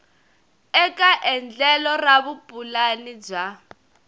eka endlelo ra vupulani bya